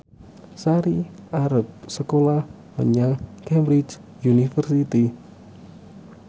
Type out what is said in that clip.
Sari arep sekolah menyang Cambridge University